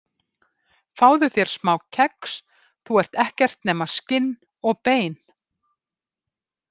Fáðu þér smá kex, þú ert ekkert nema skinn og bein.